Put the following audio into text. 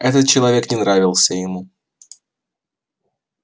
этот человек не нравился ему